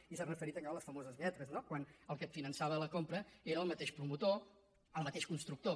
i s’ha referit allà a les famoses lletres no quan el qui et finançava la compra era el mateix promotor el mateix constructor